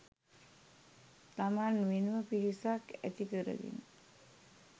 තමන් වෙනම පිරිසක් ඇති කරගෙන